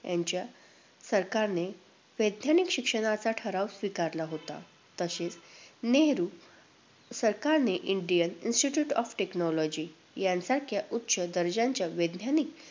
यांच्या सरकारने वैज्ञानिक शिक्षणाचा ठराव स्वीकारला होता. तसेच नेहरू अं सरकारने इंडियन इन्स्टिटयूट ऑफ टेक्नॉलॉजी या सारख्या उच्च दर्जाच्या वैज्ञानिक